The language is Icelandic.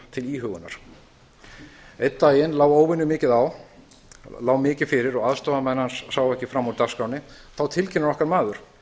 til íhugunar einn daginn lá óvenjumikið fyrir og aðstoðarmenn hans sáu ekki fram úr dagskránni þá tilkynnir okkar maður að það sé svo mikið